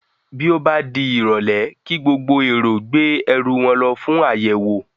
Bí ó bá di ìrọ̀lé kí gbogbo èrò gbé ẹrú wọn lọ fún àyẹ̀wò